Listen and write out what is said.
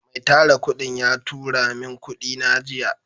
Mai Tara kudin ya turamin kudina jiya.